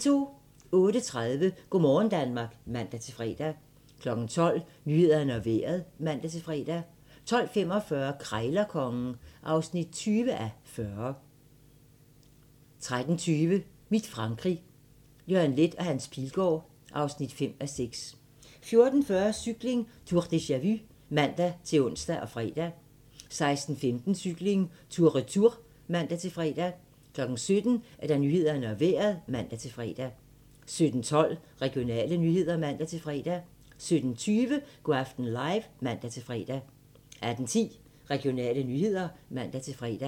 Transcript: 06:30: Go' morgen Danmark (man-fre) 12:00: Nyhederne og Vejret (man-fre) 12:45: Krejlerkongen (20:40) 13:20: Mit Frankrig - Jørgen Leth & Hans Pilgaard (5:6) 14:40: Cykling: Tour deja-vu (man-ons og fre) 16:15: Cykling: Tour Retour (man-fre) 17:00: Nyhederne og Vejret (man-fre) 17:12: Regionale nyheder (man-fre) 17:20: Go' aften live (man-fre) 18:10: Regionale nyheder (man-fre)